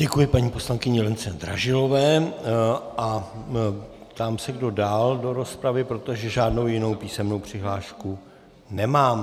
Děkuji paní poslankyni Lence Dražilové a ptám se, kdo dál do rozpravy, protože žádnou jinou písemnou přihlášku nemám.